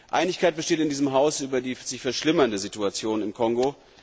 Einigkeit besteht in diesem Haus über die sich verschlimmernde Situation im Kongo.